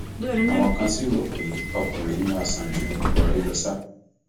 àwọn kan sì rò pé ọkùnrin yìí máa sàn ju buhari lọ ṣá